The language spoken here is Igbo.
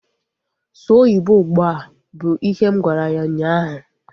Sụọ oyibo ụgbụa! Bụ ihe m gwara ya ụnyaahụ